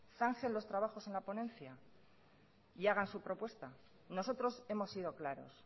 zanje los trabajos en la ponencia y hagan su propuesta nosotros hemos sido claros